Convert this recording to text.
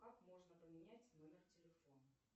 как можно поменять номер телефона